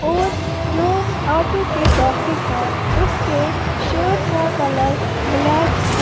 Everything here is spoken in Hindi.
और जो ऑटो के बाहिर है उसके शर्ट का कलर ब्लैक है।